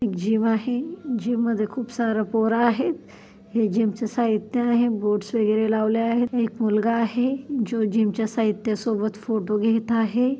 Gym आहे जिममध्ये खूप सारं पोरं आहेत हे जीमचे साहित्य आहे बोर्ड्स वगैरे लावले आहे एक मुलगा आहे जो जीमच्या साहित्यासोबत फोटो घेत आहे.